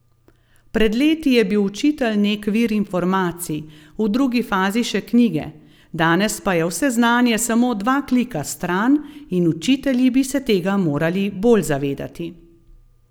Pred leti je bil učitelj nek vir informacij, v drugi fazi še knjige, danes pa je vse znanje samo dva klika stran in učitelji bi se tega morali bolj zavedati.